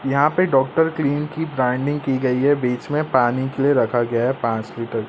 यहां पे doctor clean की ब्रांडिंग की गई है बीच में पानी के लिए रखा गया पांच लीटर ।